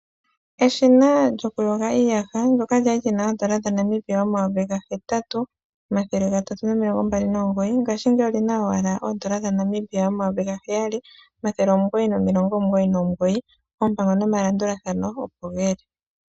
Eshina lyokuyoga iiyaha ndoka kwali lina oondola N$ 8, 329 ngaashingeyi olina owala oondola N$ 7, 999 oompango nomalandulathano opo geli.